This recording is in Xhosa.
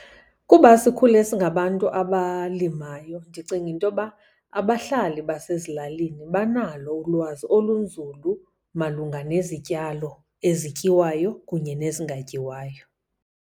Kuba sikhule singabantu abalimayo, ndicinga into yoba abahlali basezilalini banalo ulwazi olunzulu malunga nezityalo ezityiwayo kunye nezingatyiwayo.